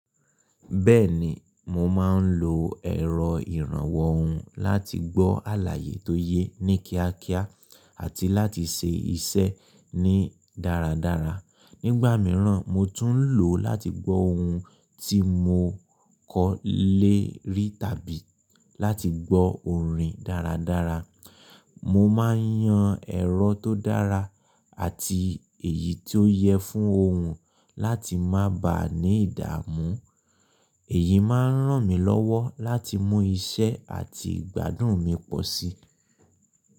Bẹ́ẹ̀ni, mo máa ń lo ẹ̀rọ ìrànwọ́ ohùn láti gbọ́ àlàyé tó ye ní kíákíá àti láti ṣe iṣẹ́ ní dáradára. Nígbà mìíràn, mo tún ń lò ó láti gbọ́ ohun tí mo kọ́ lé rí tàbí láti gbọ́ orin dáradára. Mo máa ń yan ẹ̀rọ tó dára àti èyí tó yẹ fún ohun láti má bà á ní ìdààmú. Èyí máa ń ràn mí lọ́wọ́ láti mú iṣẹ́ àti ìgbádùn mi pọ̀ sí i.